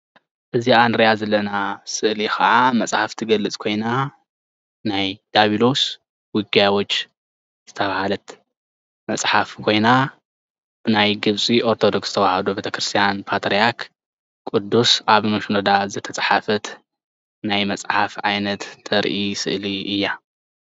እዛ ንሪኣ ዘለና ስእሊ ካዓ መፅሓፍ ትገልፅ ኮይና ናይ ዲያብሎስ ዉግያዎች ዝተብሃለት መፅሓፍ ኮይና ናይ ግብፂ ኦርተዶክስ ተውሃዶ ቤተክርስያን ፓትርያሪክ ቅዲስ ኣቡነ ሺኖዳ ዝተፅሓፈት ናይ መፅሓፍ ዓይነት ተርኢ ስእሊ እያ